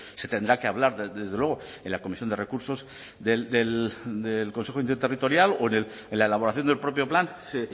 se tendrá que hablar desde luego en la comisión de recursos del consejo interterritorial o en la elaboración del propio plan